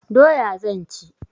Doya zan ci.